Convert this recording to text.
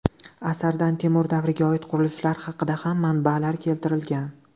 Asardan Temur davriga oid qurilishlar haqida ham manbalar keltirilgan.